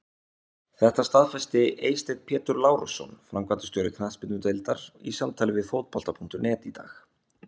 Þetta staðfesti Eysteinn Pétur Lárusson, framkvæmdastjóri knattspyrnudeildar, í samtali við Fótbolta.net í dag.